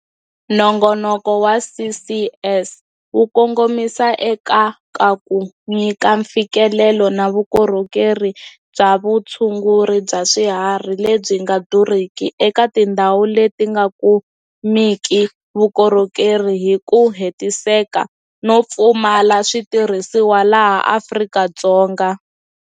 Nongonoko wa CCS wu kongomisa eka ka ku nyika mfikelelo na vukorhokeri bya vutshunguri bya swiharhi lebyi nga durhiki eka tindhawu leti nga kumeki vukorhokeri hi ku hetiseka no pfumala switirhisiwa laha Afrika-Dzonga.